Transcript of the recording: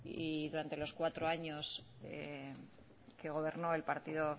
y durante los cuatro años que gobernó el partido